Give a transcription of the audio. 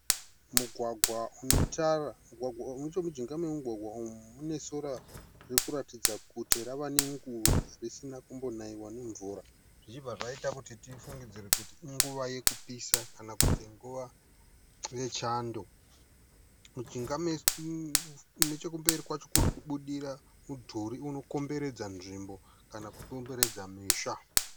Mugwagwa une tara. nechemujinga memugwagwa uyu mune sora ririkuratidza kuti rava ne nguva risina kumbonaiwa nemvura. Zvichibva zvaita kuti tifunge kuti inguva yekupisa kana kuti nguva yechando. Nechekumberi kwacho kurikubudira mudhuri unokomberedza nzvimbo kana kuti unokomberedza musha.